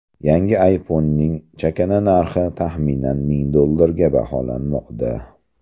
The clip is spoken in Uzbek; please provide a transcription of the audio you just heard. Yangi ayfonning chakana narxi taxminan ming dollarga baholanmoqda.